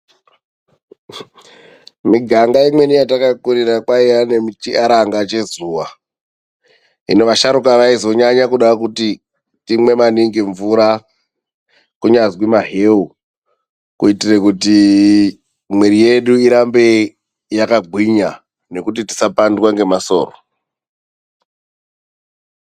Miganga imweni yatakakurira kwaiya nechiaranga chezuwa. Hino vasharuka vaizonyanye kuda kut timwe maningi mvura kunyazi maheu kuitire kuti mwiiri yedu irambe yakagwinya, nekuti tisapandwa ngemasoro.